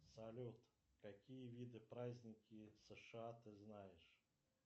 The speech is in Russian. салют какие виды праздники сша ты знаешь